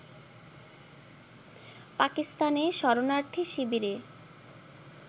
পাকিস্তানে শরণার্থী শিবিরে